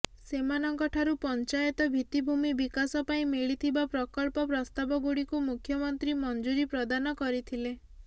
ସେମାନଙ୍କଠାରୁ ପଞ୍ଚାୟତ ଭିତ୍ତିଭୂମି ବିକାଶ ପାଇଁ ମିଳିଥିବା ପ୍ରକଳ୍ପ ପ୍ରସ୍ତାବଗୁଡ଼ିକୁ ମୁଖ୍ୟମନ୍ତ୍ରୀ ମଞ୍ଜୁରି ପ୍ରଦାନ କରିଥିଲେ